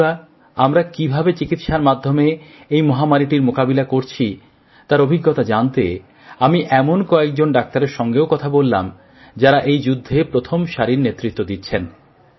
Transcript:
বন্ধুরা আমরা কীভাবে চিকিত্সার মাধ্যমে এই মহামারীটির মোকাবিলা করছি তার অভিজ্ঞতা জানতে আমি এমন কয়েকজন ডাক্তারের সঙ্গেও কথা বললাম যারা এই যুদ্ধে প্রথম সারির নেতৃত্ব দিচ্ছেন